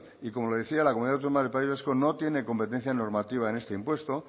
y como le decía la comunidad autónoma del país vasco no tiene competencia normativa en este impuesto